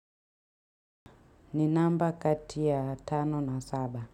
Ni namba kati ya tano na saba.